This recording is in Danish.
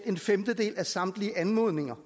en femtedel af samtlige anmodninger